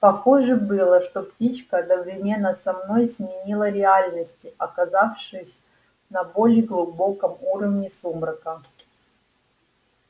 похоже было что птичка одновременно со мной сменила реальности оказавшись на более глубоком уровне сумрака